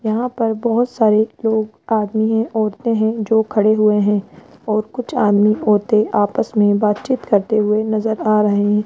यहां पर बहोत सारे लोग आदमी है औरतें है जो खड़े हुए है और कुछ आदमी औरते आपस में बातचीत करते हुए नजर आ रहे --